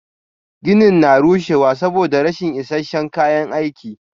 Ginin na rushewa saboda rashin is isasshen kayan aiki.